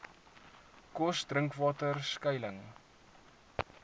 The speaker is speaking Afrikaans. kos drinkwater skuiling